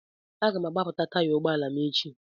Aga m agbapụta taya ụgbọ ala m echi.